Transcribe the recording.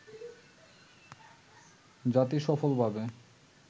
জাতি সফলভাবে